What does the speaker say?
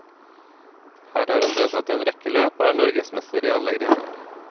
Her har han deltatt i en rekke løp, og er norgesmester i alle grener.